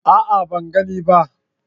A'a, Ban gane ba